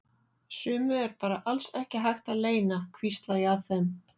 Sumu er bara alls ekki hægt að leyna, hvísla ég að þeim.